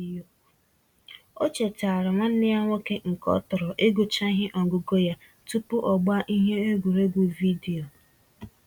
O chetaara nwanne ya nwoke nke ọ tọro igucha ihe ọgụgụ ya tupu ọgbaa ihe egwuregwu vidiyo.